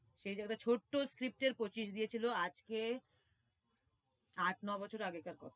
সে জায়গায় ছোট্ট script এর পঁচিশ দিয়েছিলো, আজকে আট- নয় বছরের আগেরকার কথা।